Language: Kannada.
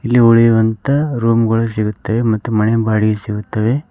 ಇಲ್ಲಿ ಉಳಿಯುವಂತ ರೂಮ್ ಗಳು ಸಿಗುತ್ತವೆ ಮತ್ತು ಮನೆ ಬಾಡಿಗೆಗೆ ಸಿಗುತ್ತವೆ.